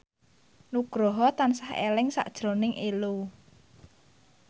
Nugroho tansah eling sakjroning Ello